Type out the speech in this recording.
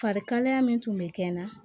Farikalaya min tun bɛ kɛ n na